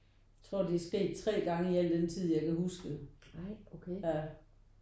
Jeg tror det er sket 3 gange i al den tid jeg kan huske ja